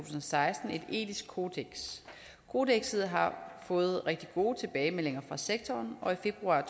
og seksten et etisk kodeks kodekset har fået rigtig gode tilbagemeldinger fra sektoren og i februar